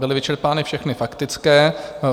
Byly vyčerpány všechny faktické.